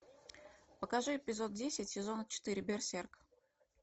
покажи эпизод десять сезона четыре берсерк